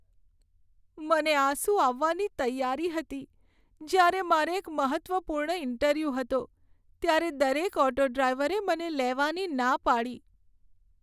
મને આંસુ આવવાની તૈયારી હતી જ્યારે મારે એક મહત્ત્વપૂર્ણ ઇન્ટરવ્યૂ હતો ત્યારે દરેક ઓટો ડ્રાઈવરે મને લેવાની ના પાડી.